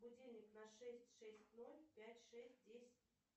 будильник на шесть шесть ноль пять шесть десять